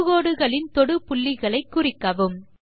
தொடுகோடுகளின் தொடு புள்ளிகளை குறிக்கவும்